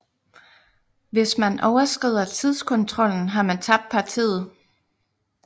Hvis man overskrider tidskontrollen har man tabt partiet